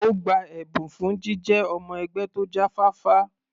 Ó gba ẹ̀bùn fún jíjẹ́ ọmọ-ẹgbẹ́ tó jáfáfá.